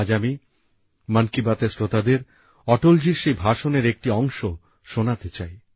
আজ আমি মন কি বাত এর শ্রোতাদের অটলজির সেই ভাষণের একটি অংশ শোনাতে চাই